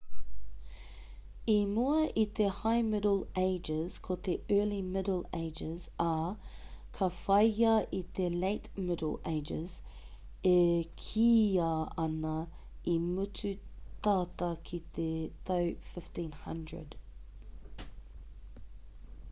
i mua i te high middle ages ko te early middle ages ā ka whāia e te late middle ages e kīia ana i mutu tata ki te tau 1500